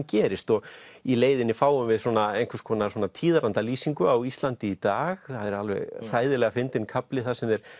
gerist í leiðinni fáum við svona einhvers konar á Íslandi í dag það er alveg hræðilega fyndinn kafli þar sem þeir